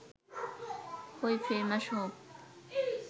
হয় ফেমাস হও